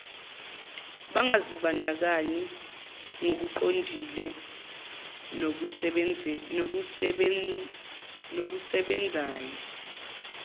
bangazibandakanyi ngokuqondile nokusebenzayo